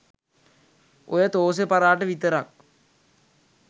ඔය තෝසෙ පරාට විතරක්